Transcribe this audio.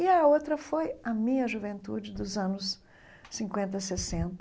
E a outra foi a minha juventude dos anos cinquenta, sessenta,